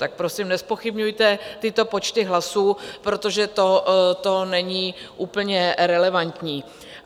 Tak prosím, nezpochybňujte tyto počty hlasů, protože to není úplně relevantní.